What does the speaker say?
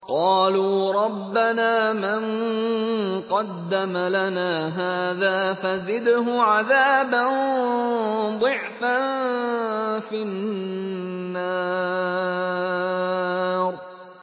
قَالُوا رَبَّنَا مَن قَدَّمَ لَنَا هَٰذَا فَزِدْهُ عَذَابًا ضِعْفًا فِي النَّارِ